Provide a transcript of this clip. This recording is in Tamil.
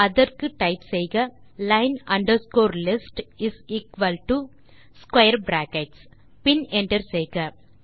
அதற்கு டைப் செய்க line underscore list is equal to square bracket பின் என்டர் செய்க